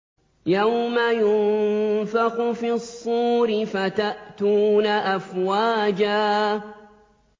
يَوْمَ يُنفَخُ فِي الصُّورِ فَتَأْتُونَ أَفْوَاجًا